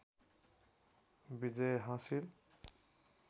विजय हासिल